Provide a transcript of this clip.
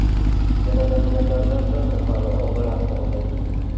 Yaralanganlardan to‘rt nafari og‘ir ahvolda.